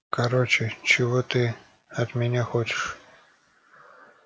короче чего ты от меня хочешь